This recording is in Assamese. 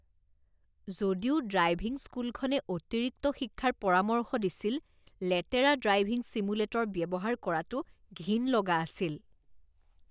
যদিও ড্ৰাইভিং স্কুলখনে অতিৰিক্ত শিক্ষাৰ পৰামৰ্শ দিছিল, লেতেৰা ড্ৰাইভিং ছিমুলেটৰ ব্যৱহাৰ কৰাটো ঘিণ লগা আছিল।